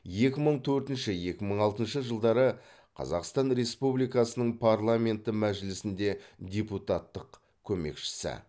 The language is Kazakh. екі мың төртінші екі мың алтыншы жылдары қазақстан республикасының парламенті мәжілісінде депутаттық көмекшісі